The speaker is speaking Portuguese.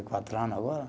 quatro ano agora.